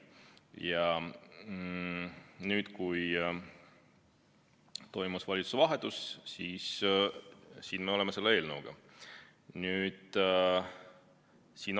Ja nüüd, kui toimus valitsuse vahetus, siis siin me oleme selle eelnõuga.